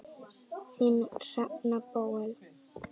Þín, Hrefna Bóel.